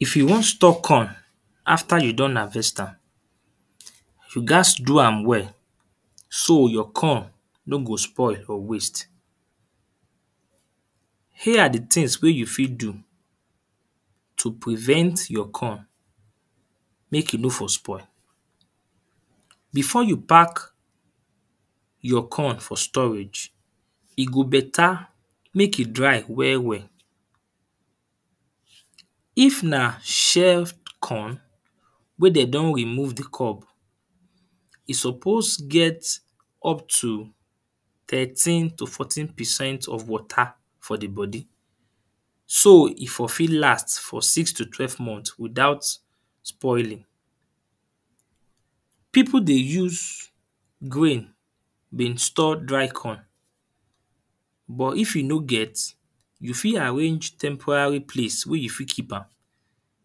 If you wan store corn after you don harvest am, you gat do am well so your corn no go spoil or waste. Here are the things wey fit do to prevent your corn make e no for spoil. Before you pack your corn for storage, e go better make e dry well well. If na shelf corn wey dem don remove the cob. E suppose get up to thirteen to fourteen percent of water for the body. So e for fit last for six to twelve month without spoiling. People dey use grain been store dry corn. But if you no get, you fit arrange temporary place wey you fit keep am.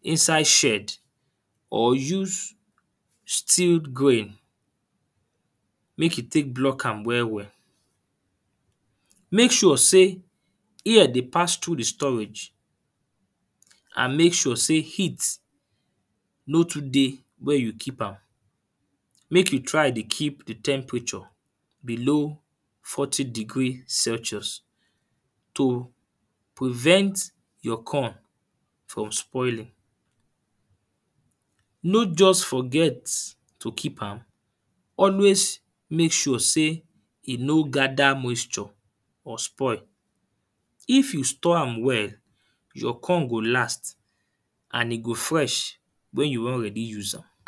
Inside shield or use steel grain, make you take block am well well. Make sure sey air dey pass through the storage. And make sure sey heat no too dey where you keep am. Make you try dey keep the temperature below forty degree celsius to prevent your corn from spoiling. No just forget to keep am. Always make sure sey e no gather moisture or spoil. If you store am well, your corn go last and e go fresh when you wan ready use am.